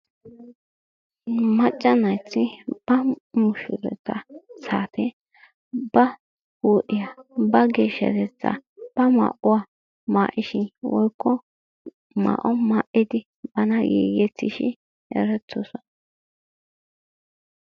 maccaa naayti ba mushurata saate ba huu'iyaa, ba geeshshatetta ba maa'uwaa maa''ishin woykko maa''o maa''idi bana giigettishin erettoosona.